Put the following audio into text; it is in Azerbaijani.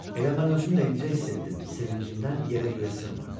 Elə mən özüm də indicə hiss etdim, sevincimdən yerə-göyə sığmırdım.